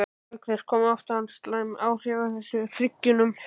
Auk þess koma oft fram slæm áhrif þess í hryggnum.